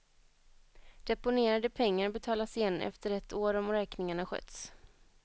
Deponerade pengar betalas igen efter ett år om räkningarna skötts.